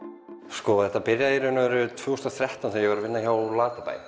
sko þetta byrjaði í raun og veru tvö þúsund og þrettán þegar ég var að vinna hjá Latabæ